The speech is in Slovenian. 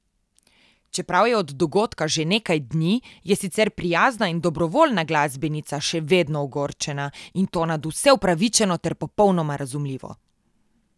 Čeprav je od dogodka že nekaj dni, je sicer prijazna in dobrovoljna glasbenica še vedno ogorčena, in to nadvse upravičeno ter popolnoma razumljivo.